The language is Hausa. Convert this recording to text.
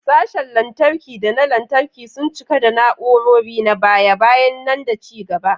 Sashen lantarki da na lantarki sun cika da na'urori na baya-bayan nan da ci gaba.